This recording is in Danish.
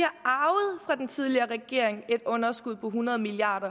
fra den tidligere regering har et underskud på hundrede milliard